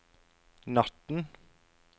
natten